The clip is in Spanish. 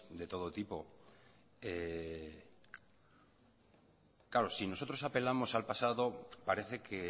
de todo tipo claro si nosotros apelamos al pasado parece que